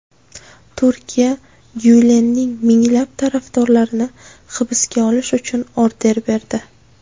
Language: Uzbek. Turkiya Gyulenning minglab tarafdorlarini hibsga olish uchun order berdi.